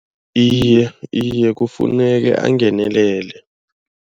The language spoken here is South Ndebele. Iye kufuneka angenelele.